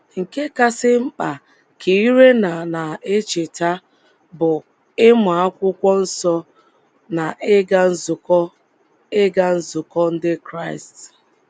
“ Nke kasị mkpa, ” ka Irena na - echeta, “ bụ ịmụ akwụkwọ nsọ na ịga nzukọ ịga nzukọ Ndị Kraịst. ”